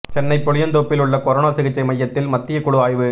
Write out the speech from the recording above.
சென்னை புளியந்தோப்பில் உள்ள கொரோனா சிகிச்சை மையத்தில் மத்திய குழு ஆய்வு